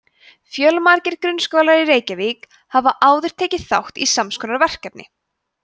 fjölmargir grunnskólar í reykjavík hafa áður tekið þátt í sams konar verkefni